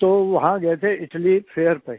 तो वहां गए थे इटाली फेयर पे